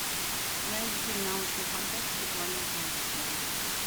найди фильм научную фантастику планета обезьян